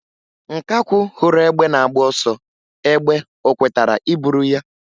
Nkakwụ hụrụ egbe na-agba ọsọ egbe o kwetara iburu ya?